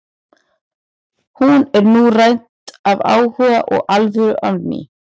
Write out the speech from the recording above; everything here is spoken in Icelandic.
Hún er nú rædd af áhuga og alvöru á ný.